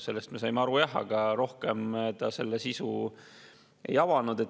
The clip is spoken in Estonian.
Sellest me saime aru jah, aga rohkem ta selle sisu ei avanud.